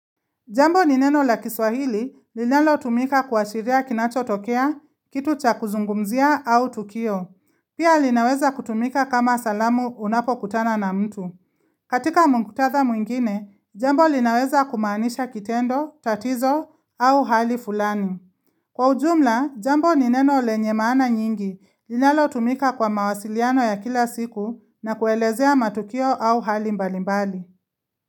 Jambo ni neno la kiswahili linalotumika kuashiria kinachotokea, kitu cha kuzungumzia au tukio. Pia linaweza kutumika kama salamu unapo kutana na mtu. Katika muktadha mwingine, jambo linaweza kumaanisha kitendo, tatizo au hali fulani. Kwa ujumla, jambo ni neno lenye maana nyingi linalotumika kwa mawasiliano ya kila siku na kuelezea matukio au hali mbalimbali.